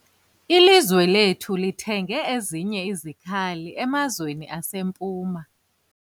Ilizwe lethu lithenge ezinye izikhali emazweni aseMpuma.